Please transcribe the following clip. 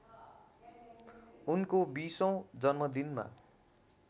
उनको बीसौँ जन्मदिनमा